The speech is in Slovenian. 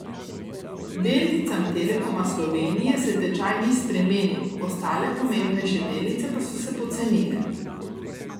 Delnicam Telekoma Slovenije se tečaj ni spremenil, ostale pomembnejše delnice pa so se pocenile.